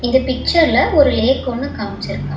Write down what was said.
இந்த பிச்சர்ல ஒரு லேக் ஒன்னு காம்சுருக்கா--